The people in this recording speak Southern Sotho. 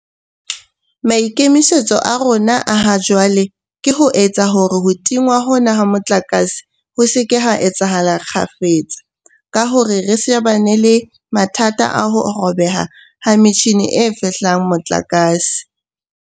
Maikemisetso a rona a ha jwale ke ho etsa hore ho tingwa hona ha motlakase ho se ke ha etsahala kgafetsa ka hore re shebane le mathata a ho robeha ha metjhini e fehlang motlakase.